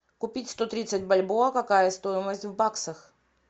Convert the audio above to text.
купить сто тридцать бальбоа какая стоимость в баксах